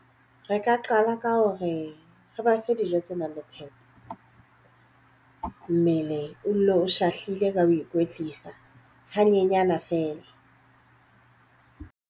Re ka qala ka hore re ba fe dijo tse nang le phepo. Mmele o dule o shahlile ka ho ikwetlisa hanyenyana feela.